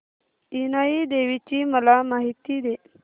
इनाई देवीची मला माहिती दे